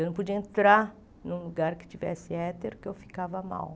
Eu não podia entrar num lugar que tivesse éter porque eu ficava mal.